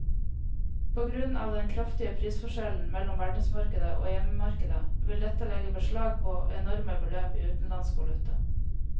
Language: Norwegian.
På grunn av den kraftige prisforskjellen mellom verdensmarkedet og hjemmemarkedet vil dette legge beslag på enorme beløp i utenlandsk valuta.